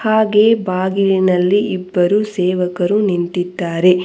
ಹಾಗೆ ಬಾಗಿಲಿನಲ್ಲಿ ಇಬ್ಬರು ಸೇವಕರು ನಿಂತಿದ್ದಾರೆ.